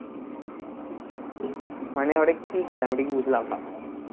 মানে ওটা কি কাজ আমি ঠিক বুঝলাম না,